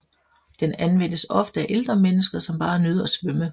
Den anvendes ofte af ældre mennesker som bare nyder at svømme